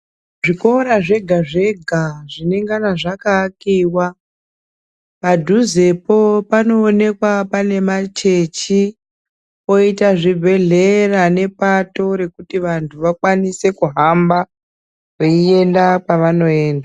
Zvikora zvega zvega zvinengana zvakaakiwa padhuzepo panoonekwa pane machechi poita zvibhedhlera nepato rekuti vantu vakwanise kuhamba veienda kwavanoenda.